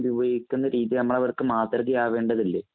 ഉണ്ട്. ഉപയോഗിക്കണ്ട രീതി നമ്മള് അവര്‍ക്ക് മാതൃകയാവേണ്ടതുണ്ട്.